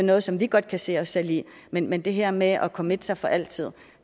noget som vi godt kan se os selv i men men det her med at committe sig for altid